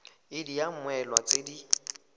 id ya mmoelwa tse di